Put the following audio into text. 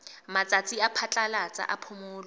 matsatsi a phatlalatsa a phomolo